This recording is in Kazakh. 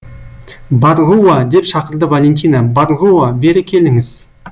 барруа деп шақырды валентина барруа бері келіңіз